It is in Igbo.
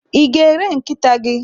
I ga- ere nkịta gi?